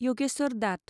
Yogeshwar dot